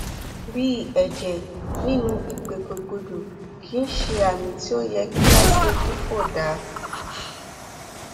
bí ẹjẹ nínú ìgbòkègbodò kìí ṣe àmì tí ó yẹ kí a gbójú fò dá